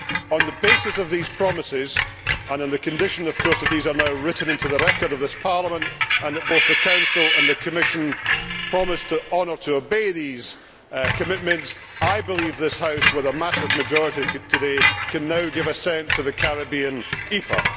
On the basis of these promises and on the condition, of course, that these are now written into the record of this Parliament and that both the Council and the Commission promise to honour and obey these commitments I believe that this House, with a massive majority today, can now give assent to the Caribbean EPA.